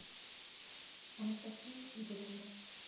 анастасией игоревной